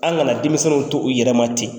An kana denmisɛniw to u yɛrɛma ten.